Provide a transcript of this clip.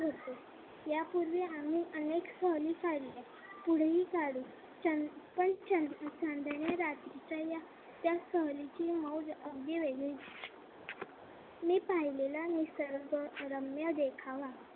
आम्ही अनेक सहली काढल्या. पुढेही काढू. पण चांदण्या रात्रीचा यात त्या सहलीची मौज अगदी वेगळीच. मी पाहिलेला निसर्गरम्य देखावा.